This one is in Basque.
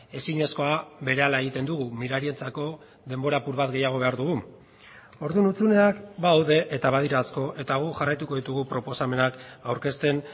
ezinezkoa berehala egiten dugu mirarientzako denbora apur bat gehiago behar dugu orduan hutsuneak badaude eta badira asko eta guk jarraituko ditugu proposamenak aurkezten